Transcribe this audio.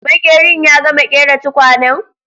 Maƙerin ya gama ƙera tukwanen?